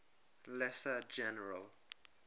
lesser general